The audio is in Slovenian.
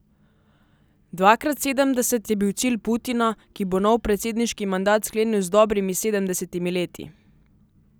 Dvakrat sedemdeset je bil cilj Putina, ki bo nov predsedniški mandat sklenil z dobrimi sedemdesetimi leti.